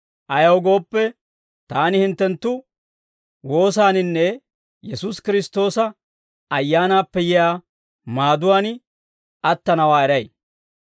Ayaw gooppe, taani hinttenttu woosaaninne Yesuusi Kiristtoosa Ayyaanaappe yiyaa maaduwaan attanawaa eray.